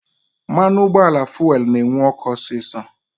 Mmanụ ụgbọala fuelu na-enwu ọkụ osisọ